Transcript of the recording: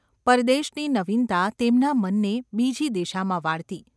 પરદેશની નવીનતા તેમના મનને બીજી દિશામાં વાળતી.